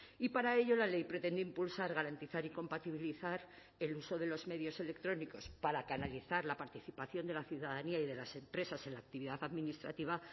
y para ello la ley pretende impulsar garantizar y compatibilizar el uso de los medios electrónicos para canalizar la participación de la ciudadanía y de las empresas en la actividad administrativa